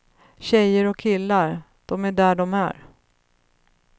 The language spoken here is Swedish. Tjejer och killar, de är där de är.